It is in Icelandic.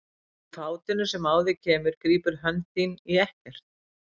Og í fátinu sem á þig kemur grípur hönd þín í ekkert.